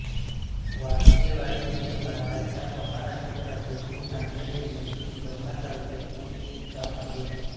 वाळकेवाडी हे भारताच्या महाराष्ट्र राज्यातील नांदेड जिल्ह्यातील लोहा तालुक्यातील एक गाव आहे